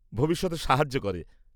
ভবিষ্যতে সাহায্য করে।